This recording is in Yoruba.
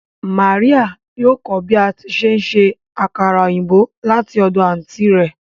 Maria yóò kọ bi ati nse akara oyinbo lati ọdọ anti rẹ